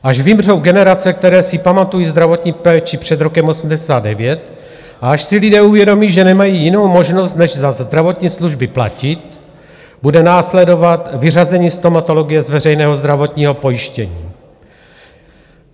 Až vymřou generace, které si pamatují zdravotní péči před rokem 1989, a až si lidé uvědomí, že nemají jinou možnost než za zdravotní služby platit, bude následovat vyřazení stomatologie z veřejného zdravotního pojištění.